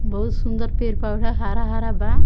बहुत सुन्दर पेड़-पौधा हरा-हरा बा।